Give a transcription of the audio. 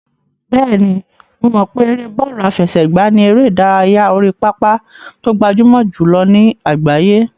Bẹ́ẹ̀ni, mo mọ̀ pé ère bọ́ọ̀lù àfẹsẹ̀gbá ni eré ìdárayá orí pápá tó gbajúmọ̀ jùlọ ní àgbáyé.